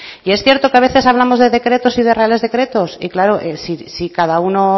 y es cierto que a veces hablamos de decretos y de reales decretos y claro si cada uno